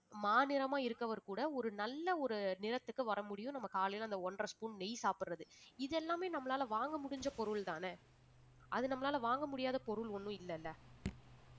மாநிறமா இருக்கவர் கூட ஒரு நல்ல ஒரு நிறத்துக்கு வர முடியும் நம்ம காலையில அந்த ஒன்றரை spoon நெய் சாப்பிடுறது இது எல்லாமே நம்மளால வாங்க முடிஞ்ச பொருள்தானே அது நம்மளால வாங்க முடியாத பொருள் ஒண்ணும் இல்லைல